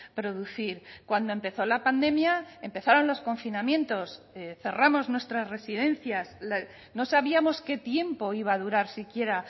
producir cuando empezó la pandemia empezaron los confinamientos cerramos nuestras residencias no sabíamos qué tiempo iba a durar siquiera